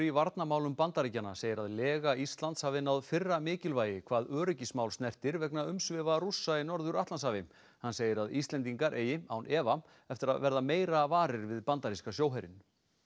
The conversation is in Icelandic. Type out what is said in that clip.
varnarmálum Bandaríkjanna segir að lega Íslands hafi náð fyrra mikilvægi hvað öryggismál snertir vegna umsvifa Rússa í Norður Atlantshafi hann segir að Íslendingar eigi án efa eftir að verða meira varir við bandaríska sjóherinn